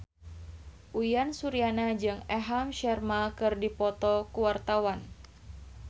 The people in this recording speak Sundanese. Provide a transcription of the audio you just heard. Uyan Suryana jeung Aham Sharma keur dipoto ku wartawan